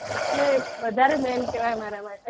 એટલે વધારે main કહેવાય અમારા માટે,